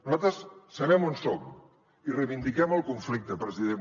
nosaltres sabem on som i reivindiquem el conflicte president